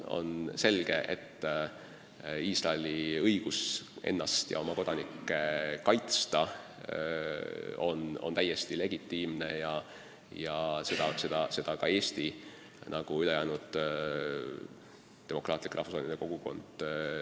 On selge, et Iisraeli õigus ennast ja oma kodanikke kaitsta on täiesti legitiimne, ja seda toetab ka Eesti ja ülejäänud maailma demokraatlik rahvusvaheline kogukond.